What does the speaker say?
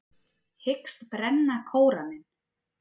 Hyggst brenna Kóraninn